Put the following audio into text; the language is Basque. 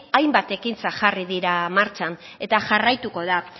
hainbat ekintzat jarri dira martxan eta jarraituko da